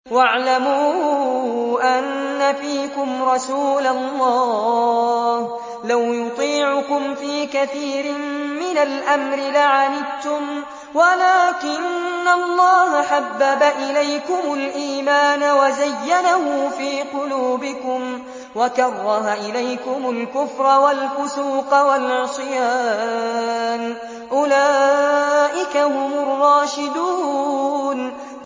وَاعْلَمُوا أَنَّ فِيكُمْ رَسُولَ اللَّهِ ۚ لَوْ يُطِيعُكُمْ فِي كَثِيرٍ مِّنَ الْأَمْرِ لَعَنِتُّمْ وَلَٰكِنَّ اللَّهَ حَبَّبَ إِلَيْكُمُ الْإِيمَانَ وَزَيَّنَهُ فِي قُلُوبِكُمْ وَكَرَّهَ إِلَيْكُمُ الْكُفْرَ وَالْفُسُوقَ وَالْعِصْيَانَ ۚ أُولَٰئِكَ هُمُ الرَّاشِدُونَ